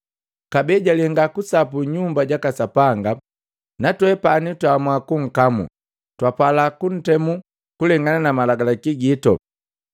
Kabee jalenga sapu Nyumba jaka Sapanga, natwepani twaamua kunkamu. Twapala kuntemu kulengana na malagalaki gito.